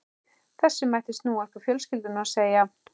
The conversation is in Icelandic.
Þessu mætti snúa upp á fjölskylduna og segja